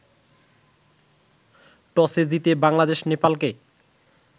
টসে জিতে বাংলাদেশ নেপালকে